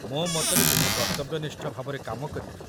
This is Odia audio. ମୋ ମତରେ ଦୁହେଁ କର୍ତ୍ତବ୍ୟନିଷ୍ଠ ଭାବରେ କାମ କରିବେ।